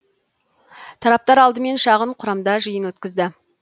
тараптар алдымен шағын құрамда жиын өткізді